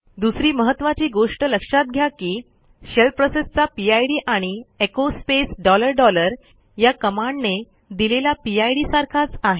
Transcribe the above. दुसरी महत्त्वाची गोष्ट लक्षात घ्या की शेल प्रोसेसचा पिड आणि एचो स्पेस डॉलर डॉलर या कमांडने दिलेला पिड सारखाच आहे